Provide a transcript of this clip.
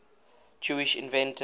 jewish inventors